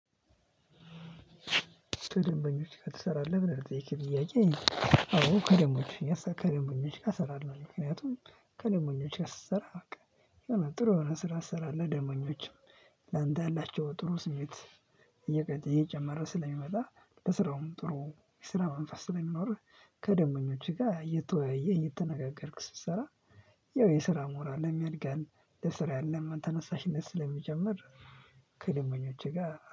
ከደንበኞች ጋር ትሰራለህ? ብለህ ለጠየቅክኝ ጥያቄ? አዎ ከደንበኞች ከደንበኞች ጋር ሰራለሁኝ ምክንያቱም ከደንበኞች ጋር ስሰራ በቃ ጥሩ የሆነ ስራ ትሰራለህ ደንበኞችም ለአንተ ያላቸው ጥሩ ስሜት እየጨመረ ስለሚመጣ ለስራውም ጥሩ የስራ መንፈስ ስለሚኖርህ ከደንበኞችህ ጋር እየተወያየህ እየተነጋገርክ ስትሰራ ያው የስራ ሞራልህም ያድጋል። ለስራ ያለም ተነሳሽነት ስለሚጨምር ከደንበኞች ጋር